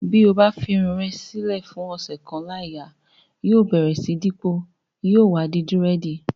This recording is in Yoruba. To bá fi irun rẹ lè fún ọ̀sẹ̀ kan láì yà, yóò bẹ̀rẹ̀ sí dípọ̀, yóò wá di dírẹ̀dì.